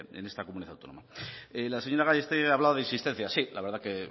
en esta comunidad autónoma la señora gallástegui ha hablado de insistencia sí la verdad que